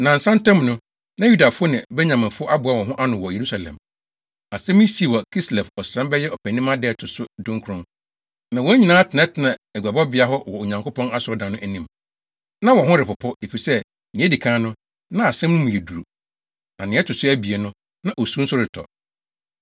Nnansa ntam no, na Yudafo ne Benyaminfo aboa wɔn ho ano wɔ Yerusalem. Asɛm yi sii wɔ Kislev ɔsram (bɛyɛ Ɔpɛnimma) da a ɛto so dunkron, na wɔn nyinaa tenatenaa aguabɔbea hɔ wɔ Onyankopɔn Asɔredan no anim. Na wɔn ho repopo, efisɛ nea edi kan no, na asɛm no mu yɛ duru, na nea ɛto so abien no, na osu nso retɔ.